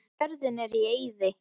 Jörðin er í eyði.